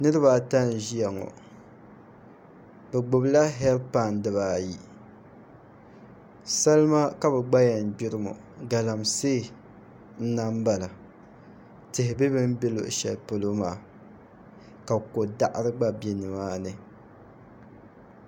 Niraba ata n ʒiya ŋo bi gbubila heed pai dibaayi salima ka bi gbaya gbiri maa galamsee n lahi bala tihi bɛ bi ni bɛ luɣu shɛli polo maa ka ko daɣari gba bɛ nimaani